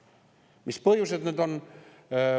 Mis need põhjused on?